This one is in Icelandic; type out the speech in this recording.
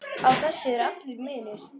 Á þessu er allur munur.